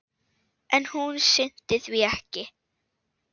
En hún sinnti því ekki.